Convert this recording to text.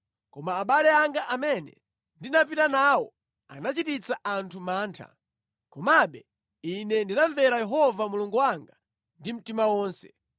Koma abale anga amene ndinapita nawo anachititsa anthu mantha. Komabe ine ndinamvera Yehova Mulungu wanga ndi mtima wonse.